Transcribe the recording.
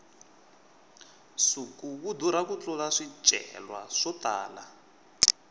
nsuku wu durha ku tlurisa swicelwa swo tala